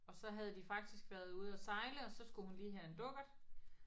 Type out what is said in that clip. Og så havde de faktisk været ude og sejle og så skulle hun lige have en dukkert